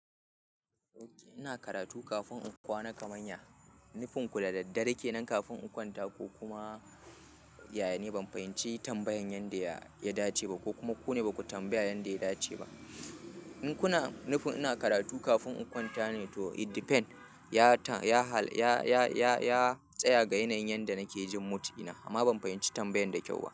Ina karatu kafin in kwana kamanya, nufinku da daddare kenan kafin in kwanta ko kuma yaya ne? Ban fahimci tambayan yanda ya dace ba ko kuma ku ne ba ku tambaya yanda ya dace ba. In kuna nufin ina karatu kafin in kwanta ne to it depends. Ya Ya tsaya ga yanayin yanda nake jin mood dina amma ban fahimci tambayan da kyau ba.